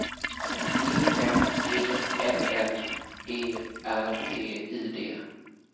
E M E L L E R T I D